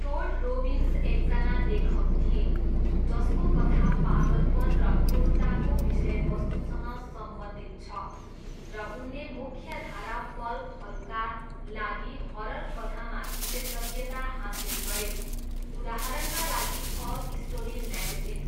टोड रोबिन्स एकजना लेखक थिए जसको कथा पागलपन र क्रूरताको विषयवस्तुसँग सम्बन्धित छ र उनले मुख्यधारा पल्पहरूका लागि हरर कथामा विशेषज्ञता हासिल गरे, उदाहरणका लागि अल स्टोरी म्यागजिन।